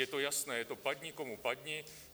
Je to jasné, je to padni komu padni.